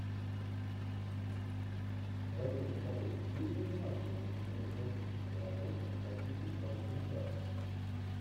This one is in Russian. в твоем каталоге есть занимательная кинематографическая работа по типу короткометражки